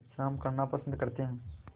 विश्राम करना पसंद करते हैं